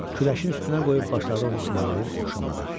Küləşin üstünə qoyub başladı onu tumarlayıb oxşamağa.